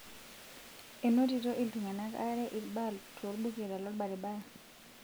enotito iltung'anak aare ilbaa tolbuket lolbaribara